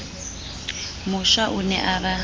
mosha o ne a ba